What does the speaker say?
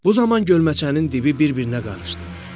Bu zaman gölməçənin dibi bir-birinə qarışdı.